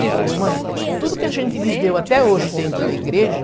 Ele falou, mãe, tudo que a gente viveu até hoje dentro da igreja,